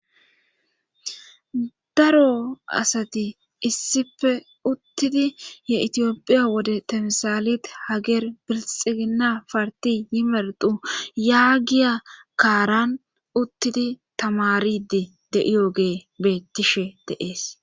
Daro asati issife uttidi ye itiyophiya wode tamsaalit hageer birxigina parti yimerdu yaagiya kaaran uttidi tamaridi de7iyogee beettishe deees.